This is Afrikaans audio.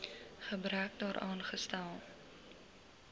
gebrek daaraan stel